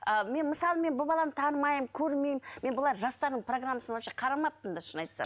а мен мысалы мен бұл баланы танымаймын көрмеймін мен былай жастардың программасын вообще қарамаппын да шынын айтсам